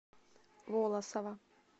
волосово